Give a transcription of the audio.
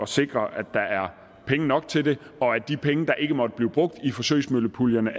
sikre at der er penge nok til det og at de penge der ikke måtte blive brugt i forsøgsmøllepuljerne